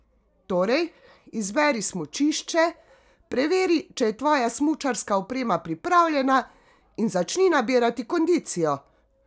Torej, izberi smučišče, preveri, če je tvoja smučarska oprema pripravljena in začni nabirati kondicijo!